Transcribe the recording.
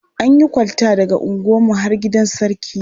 An yi kwalta daga unguwarmu har gidan Sarki.